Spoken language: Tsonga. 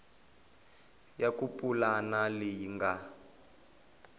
ya ku pulana leyi nga